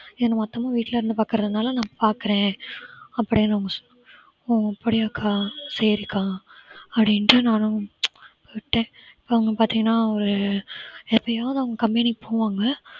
மொத்தமா வீட்டிலே இருந்து பார்க்குறதுனால நான் பார்க்கிறேன் அப்பிடின்னு அவங்க சொன்னாங்க ஓ அப்படியாக்கா சரிக்கா அப்பிடிண்டு நானும் விட்டேன் இப்ப அவங்க பாத்தீங்கன்னா ஒரு எப்பையாவது அவங்க company க்கு போவாங்க